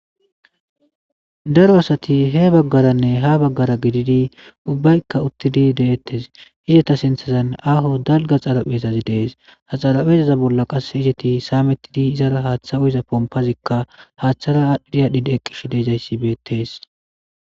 Daro asati he baggaranne ha baggara gididi ubbaykka uttidi deettes izeta sinthazan aaho dalga xaraphezazi dees ha xaraphezaza bolla qas izeti saamettidi izara haaththa uyiza pompazikka haaththara aadhdhidiyadhidi eqqish deejzayssibeetees